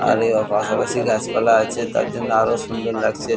আর এ পাশাপাশি গাছপালা আছে তার জন্য আর ও সুন্দর লাগছে।